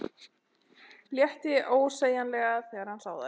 Létti ósegjanlega þegar hann sá þær.